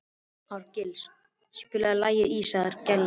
Árgils, spilaðu lagið „Ísaðar Gellur“.